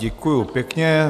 Děkuju pěkně.